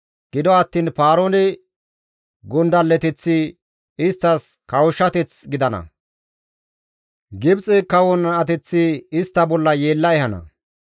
Gido attiin Paaroone gondalleteththi isttas kawushshateth gidana; Gibxe kawon ateththi istta bolla yeella ehana.